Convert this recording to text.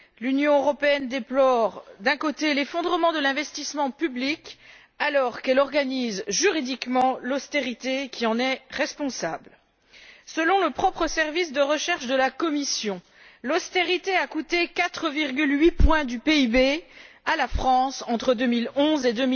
L'Union européenne, d'un côté, déplore l'effondrement de l'investissement public et, de l'autre côté, organise juridiquement l'austérité qui en est responsable. Selon le propre service de recherche de la Commission, l'austérité a coûté 4,8 points du PIB à la France entre 2011 et